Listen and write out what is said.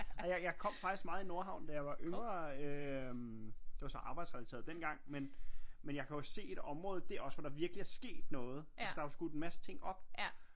Og jeg kom faktisk meget i Nordhavn da jeg var yngre øh det var så arbejdsrelateret dengang men jeg kan jo se et område dér også hvor der virkeligt er sket noget altså der er jo skudt en masse ting op